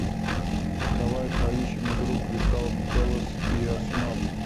давай поищем игру кристал пэлас и арсенал